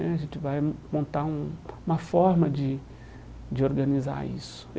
Né A gente vai montar um uma forma de de organizar isso.